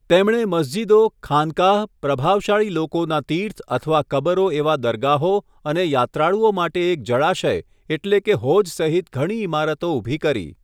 તેમણે મસ્જિદો, ખાનકાહ, પ્રભાવશાળી લોકોના તીર્થ અથવા કબરો એવા દરગાહો અને યાત્રાળુઓ માટે એક જળાશય એટલે કે હોજ સહિત ઘણી ઇમારતો ઊભી કરી.